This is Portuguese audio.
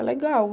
É legal.